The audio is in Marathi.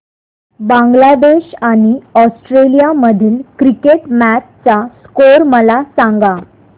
बांगलादेश आणि ऑस्ट्रेलिया मधील क्रिकेट मॅच चा स्कोअर मला सांगा